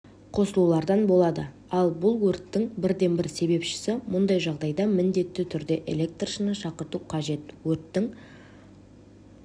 қосылулардан болады ал бұл өрттің бірден-бір себепшісі мұндай жағдайда міндетті түрде электршіні шақырту қажет өрттің